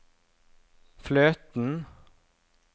fløten